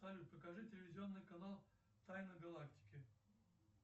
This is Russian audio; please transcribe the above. салют покажи телевизионный канал тайны галактики